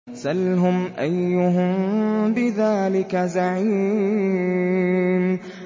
سَلْهُمْ أَيُّهُم بِذَٰلِكَ زَعِيمٌ